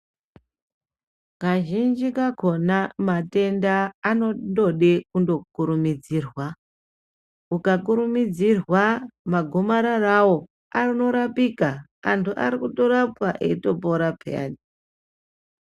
Kazhinji kakona matenda anondode kukurumudzirwa ukakurumidzirwa magomararawo anorapika anhu arikutorapwa eitopora peyani.